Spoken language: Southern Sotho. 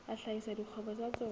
a hlahisa dikgwebo tsa tsona